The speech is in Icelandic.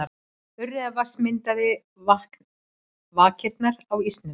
Urriðavatns myndaði vakirnar á ísnum.